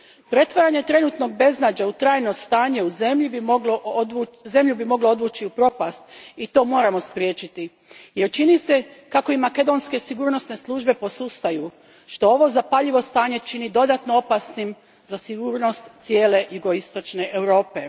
Pretvaranje trenutnog beznađa u trajno stanje zemlju bi moglo odvući u propast i to moramo spriječiti, jer čini se kako i makedonske sigurnosne službe posustaju što ovo zapaljivo stanje čini dodatno opasnim za sigurnost cijele Jugoistočne Europe.